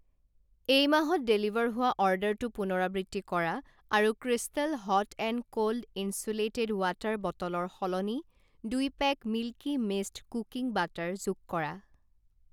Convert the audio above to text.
এই মাহত ডেলিভাৰ হোৱা অৰ্ডাৰটো পুনৰাবৃত্তি কৰা আৰু crystal hot and cold insulated water বটলৰ সলনি দুই pack Milky Mist cooking butter যোগ কৰা।